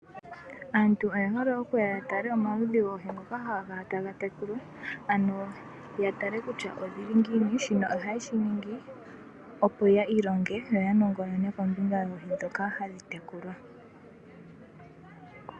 Aantu oye hole okuya ya tale omaludhi goohi ngoka haga kala taga tekulwa ano ya tale kutya odhili ngiini, shino oha yeshi ningi opo ya ilonge, yo ya nongonone kombinga yoohi ndhoka hadhi tekulwa.